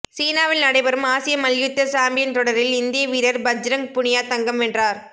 சீனாவில் நடைபெறும் ஆசிய மல்யுத்த சாம்பியன் தொடரில் இந்திய வீரர் பஜ்ரங் புனியா தங்கம் வென்றார்